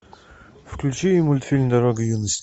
включи мультфильм дорога юности